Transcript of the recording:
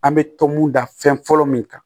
An bɛ tɔmɔ fɔlɔ min kan